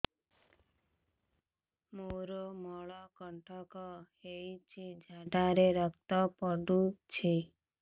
ମୋରୋ ମଳକଣ୍ଟକ ହେଇଚି ଝାଡ଼ାରେ ରକ୍ତ ପଡୁଛି